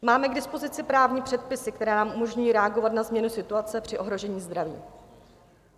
Máme k dispozici právní předpisy, které nám umožňují reagovat na změnu situace při ohrožení zdraví.